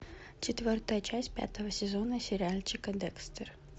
четвертая часть пятого сезона сериальчика декстер